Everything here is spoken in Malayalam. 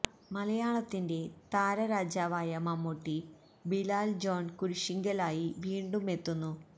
മലയാളത്തിന്റെ താര രാജാവായ മമ്മൂട്ടി ബിലാൽ ജോൺ കുരിശിങ്കൽ ആയി വീണ്ടും എത്തുന്നു